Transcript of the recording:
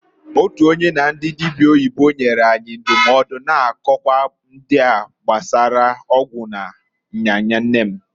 Otu onye na ndị dịbịa oyibo nyere anyị ndụmọdụ na nkọwa ndịa gbasara ọgwụ na nya nya nne m.